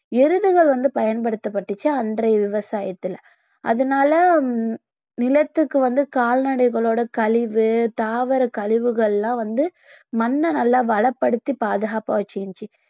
எருதுகள் வந்து பயன்படுத்தப்பட்டுச்சு அன்றைய விவசாயத்துல அதனால நிலத்துக்கு வந்து கால்நடைகளோட கழிவு தாவரக் கழிவுகள்லாம் வந்து மண்ணை நல்லா வளப்படுத்தி பாதுகாப்பா வச்சிருந்துச்சு